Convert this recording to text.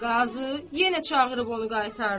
Qazı yenə çağırıb onu qaytardı.